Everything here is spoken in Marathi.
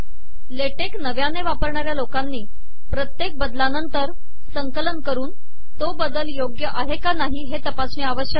लेटेक नवयाने वापरणाऱया लोकानी पतयेक बदलानंतर संकलन करन तो बदल सवीकाराहर आहे की नाही हे तपासणे आवशयक आहे